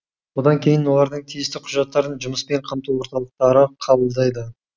одан кейін олардың тиісті құжаттарын жұмыспен қамту орталықтары қабылдайды